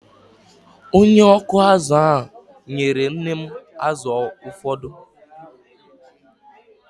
Onye ọkụ azụ̀ ahụ nyere nne m azụ̀ ụfọdụ.